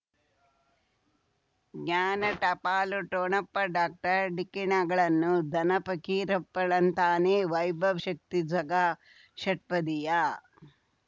ಜ್ಞಾನ ಟಪಾಲು ಠೊಣಪ ಡಾಕ್ಟರ್ ಢಿಕ್ಕಿ ಣಗಳನು ಧನ ಫಕೀರಪ್ಪ ಳಂತಾನೆ ವೈಭವ್ ಶಕ್ತಿ ಝಗಾ ಷಟ್ಪದಿಯ